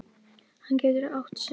Hann getur átt sig.